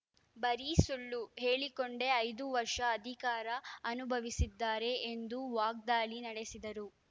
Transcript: ಬರೀ ಸುಳ್ಳು ಹೇಳಿಕೊಂಡೇ ಐದು ವರ್ಷ ಅಧಿಕಾರ ಅನುಭವಿಸಿದ್ದಾರೆ ಎಂದು ವಾಗ್ದಾಳಿ ನಡೆಸಿದರು